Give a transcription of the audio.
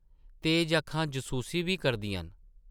तेज अक्खां जसूसी बी करदियां न ।